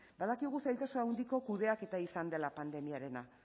badakigu zailtasun handiko kudeaketa izan dela pandemiarena